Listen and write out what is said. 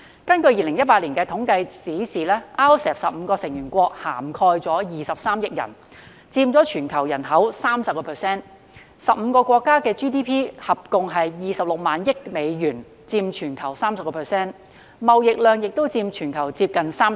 根據2018年的統計數字 ，RCEP 的15個成員國涵蓋約23億人，佔全球人口的 30%，15 個國家的 GDP 共約26萬億美元，佔全球 30%， 貿易總額亦佔全球接近 30%。